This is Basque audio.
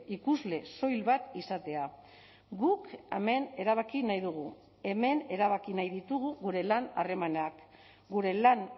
ikusle soil bat izatea guk hemen erabaki nahi dugu hemen erabaki nahi ditugu gure lan harremanak gure lan